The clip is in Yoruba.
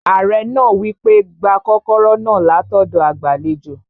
Ààrẹ náà wí pé, "gba kọ́kọ́rọ́ náà látọ̀dọ̀ agbàlejò